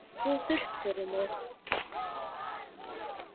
En það væri of þurrt fyrir mig